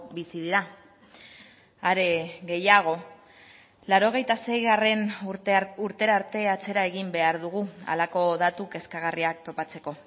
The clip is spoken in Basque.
bizi dira are gehiago laurogeita seigarrena urtera arte atzera egin behar dugu halako datu kezkagarriak topatzeko